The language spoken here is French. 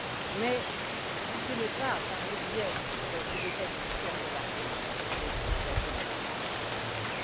Mais ce n'est pas par le biais d'un coup d'État militaire de l'armée que la solution pourra être apportée.